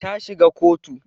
Ta shiga kotu